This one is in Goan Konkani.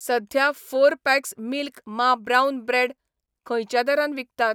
सध्या फोर पॅक्स मिल्क मा ब्राऊन ब्रेड खंयच्या दरान विकतात?